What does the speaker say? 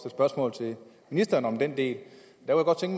spørgsmål til ministeren om den del